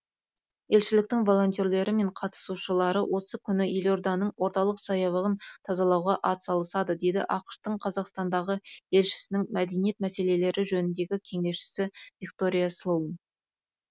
елшіліктің волентерлері мен қатысушылары осы күні елорданың орталық саябағын тазалауға атсалысады деді ақш тың қазақстандағы елшісінің мәдениет мәселелері жөніндегі кеңесшісі виктория слоун